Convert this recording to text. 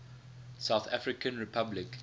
south african republic